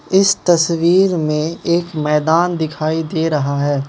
इस तस्वीर मे एक मैदान दिखाई दे रहा है।